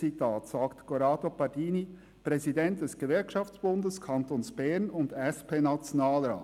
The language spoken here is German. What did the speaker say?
Das sagt Corrado Pardini als Präsident des Gewerkschaftsbundes des Kantons Bern und SPNationalrat.